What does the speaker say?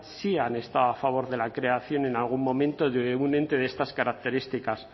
sí han estado a favor de la creación en algún momento de un ente de estas características